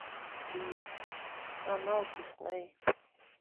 канал дисней